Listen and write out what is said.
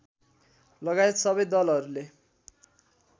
लगायत सबै दलहरूले